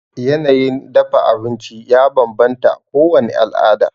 Yanayin dafa abinci ya banbanta a kowani alada